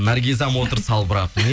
наргизам отыр салбырап